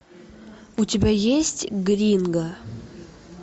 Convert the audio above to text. у тебя есть гринго